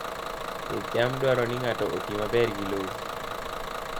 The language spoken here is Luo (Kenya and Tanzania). Pidh cham dwaro ni ng'ato oti maber gi lowo.